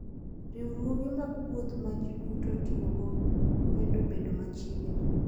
Riwruoge mag wuoth ma ji duto tiyogo medo bedo machiegni.